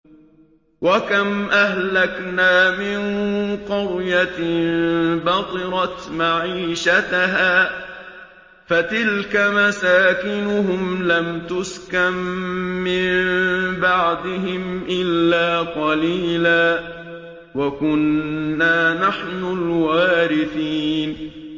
وَكَمْ أَهْلَكْنَا مِن قَرْيَةٍ بَطِرَتْ مَعِيشَتَهَا ۖ فَتِلْكَ مَسَاكِنُهُمْ لَمْ تُسْكَن مِّن بَعْدِهِمْ إِلَّا قَلِيلًا ۖ وَكُنَّا نَحْنُ الْوَارِثِينَ